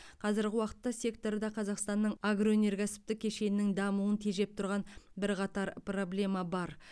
қазіргі уақытта секторда қазақстанның агроөнеркәсіптік кешенінің дамуын тежеп тұрған бірқатар проблема бар